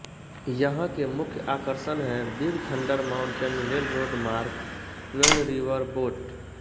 यहाँ के मुख्य आकर्षण हैं Big Thunder Mountain Railroad Mark Twain riverboat